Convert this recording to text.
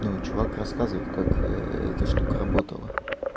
чувак рассказывает как эта штука работала